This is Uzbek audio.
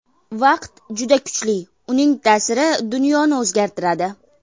Vaqt juda kuchli, uning ta’siri dunyoni o‘zgartiradi.